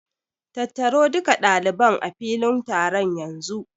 Tattaro duka ɗaliban a filin taron yanzu!